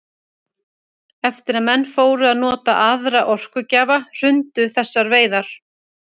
Eftir að menn fóru að nota aðra orkugjafa hrundu þessar veiðar.